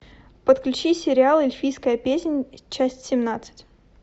подключи сериал эльфийская песнь часть семнадцать